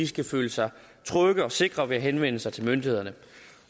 skal føle sig trygge og sikre ved at henvende sig til myndighederne